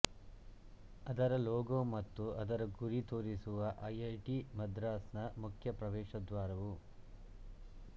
ಅದರ ಲೋಗೋ ಮತ್ತು ಅದರ ಗುರಿ ತೋರಿಸುವ ಐಐಟಿ ಮದ್ರಾಸ್ನ ಮುಖ್ಯ ಪ್ರವೇಶದ್ವಾರವು